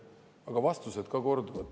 Aga ka vastused korduvad.